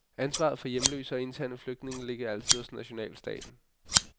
Ansvaret for hjemløse og interne flygtninge ligger altid hos nationalstaten.